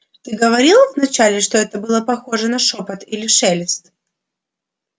ты говорил вначале что это было похоже на шёпот или шелест